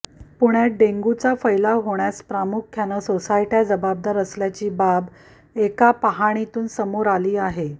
पुण्यात डेंग्यूचा फैलाव होण्यास प्रामुख्यानं सोसायट्याच जबाबदार असल्याची बाब एका पाहणीतून समोर आली आहे